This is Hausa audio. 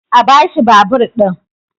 a bashi babur ɗin!